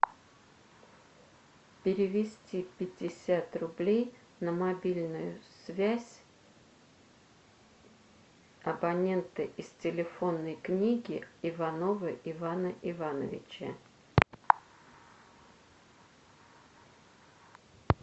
перевести пятьдесят рублей на мобильную связь абонента из телефонной книги иванова ивана ивановича